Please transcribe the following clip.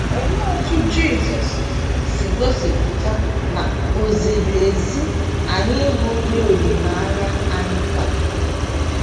Olee otú Jisọs si gosipụta na o ziri ezi anyị ịbụ ndị olileanya anyị kwagidere?